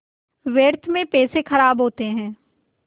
व्यर्थ में पैसे ख़राब होते हैं